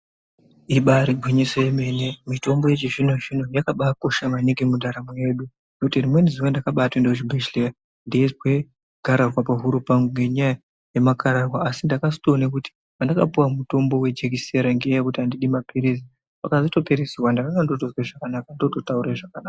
Ibairi ngwinyiso yemene mitombo yechi zvino zvino yakabai kosha maningi mu ndaramo yedu nekuti rimweni zuva ndakatobai ende ku chibhedhleya ndeizwe garahwa pahuro pangu nge nya yema karahwa asi ndakazoto ona kuti pandaka puwa mutombo wechi jekisera ngenya yekuti andidi mapirizi pakazoto pere zuva ndakanga ndotozwe zvakanaka ndoto taure zvakanaka.